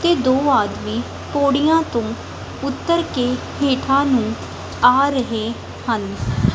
ਤੇ ਦੋ ਆਦਮੀ ਪੌੜੀਆਂ ਤੋਂ ਉੱਤਰ ਕੇ ਹੇਠਾਂ ਨੂੰ ਆ ਰਹੇ ਹਨ।